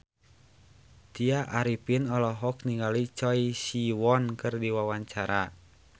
Tya Arifin olohok ningali Choi Siwon keur diwawancara